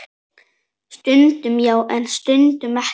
Stundum já, en stundum ekki.